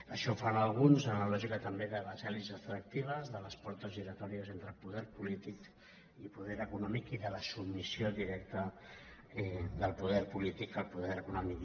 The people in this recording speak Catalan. això fan alguns en la lògica també de les elits extractives de les portes giratòries entre poder polític i poder econòmic i de la submissió directa del poder polític al poder econòmic